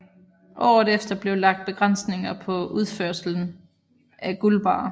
Året efter blev lagt begrænsninger på udførsel af guldbarrer